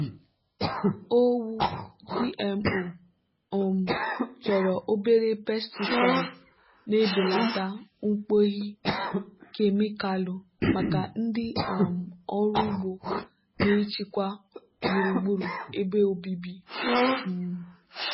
owu gmo um chọrọ obere pesticide na-ebelata mkpughe kemịkalụ maka ndị um ọrụ ugbo na ichekwa gburugburu ebe obibi. um